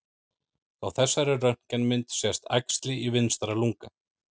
Á þessari röntgenmynd sést æxli í vinstra lunga.